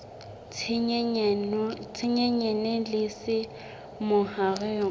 tse nyenyane le tse mahareng